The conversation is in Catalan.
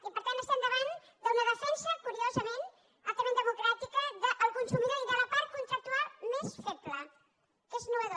i per tant estem davant d’una defensa curiosament altament democràtica del consumidor i de la part contractual més feble que és innovador